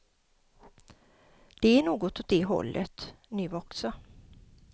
Det är något åt det hållet, nu också.